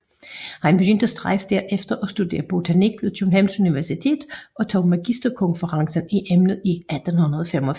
Han begyndte straks derefter at studere botanik ved Københavns Universitet og tog magisterkonferens i emnet i 1885